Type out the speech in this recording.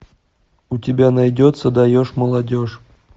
у тебя найдется даешь молодежь